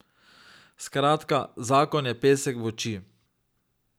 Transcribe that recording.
Skratka, zakon je pesek v oči.